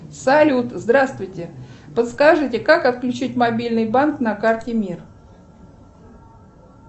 салют здравствуйте подскажите как отключить мобильный банк на карте мир